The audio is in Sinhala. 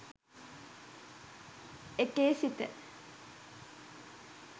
ඒකෙ සිට